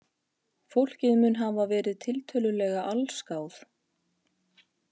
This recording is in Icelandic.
Fólkið mun hafa verið tiltölulega allsgáð